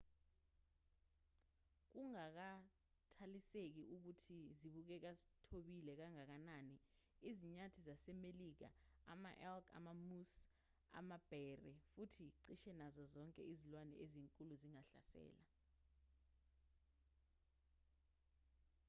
kungakhathaliseki ukuthi zibukeka zithobile kangakanani izinyathi zasemelika ama-elk ama-moose amabhere futhi cishe nazo zonke izilwane ezinkulu zingahlasela